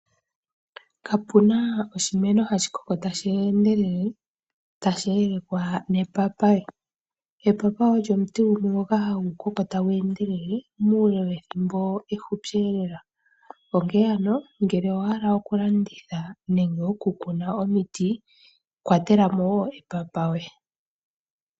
Kapuna oshike hashi koko tashi endelela tashi yelekwa nepapaye, epapaye olyo omuti gumwe ngoka hagu koko tagu endelele muule we thimbo ehupi lela, onkene ano ngele owahala oku landitha nenge oku kuna omiti kwatela mo wo epapaye.